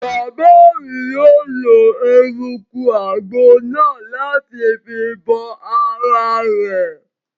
Bàbá mi yóò lo eruku àgbo náà láti fi bo ara rẹ̀